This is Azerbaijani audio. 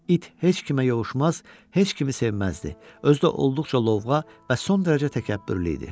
İt heç kimə yovuşmaz, heç kimi sevməzdi, özü də olduqca lovğa və son dərəcə təkəbbürlü idi.